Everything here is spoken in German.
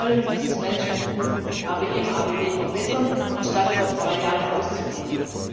Wir wollen dieses Management Tool ABM ABB verbessern, anstatt es auf zwei Jahre auszudehnen.